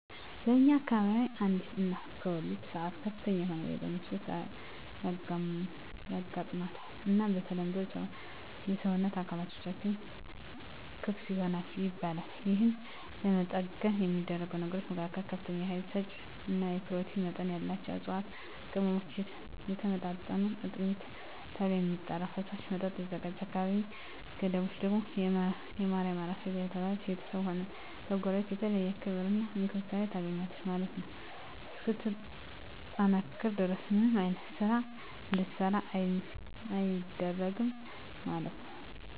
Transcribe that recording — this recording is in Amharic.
በእኛ አከባቢ አንዲት እናት በወሊድ ሰአት ከፍተኛ የሆነ የደም መፍሰስ ያጋማታል እና በተለምዶ የሰወነት አካላትቶችም ክፍት ይሆናል ይባላል የህን ለመጠገን የሚደረጉ ነገሮች መካከል ከፍተኛ የሀይል ሰጪ እና የኘሮቲን መጠን ያላቸውን እፅዋትና ቅመሞች የተወጣጡ አጥሚት ተብሎ የሚጠራራ ፈሳሽ መጠጥ ይዘጋጃል አካላዊ ገደቦች ደግም የማርያም አራስ እየተባለች በቤተስብም ሆነ ከጎረቤት የተለየ ክብር እና እንክብካቤ ታገኛለች ማለት ነው እስክትጠነክር ድረስ ምንም አይነት ስራ እንድትሰራ አይደረግም ማለት ነው።